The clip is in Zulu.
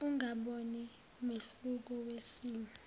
ungaboni mehluko wesimo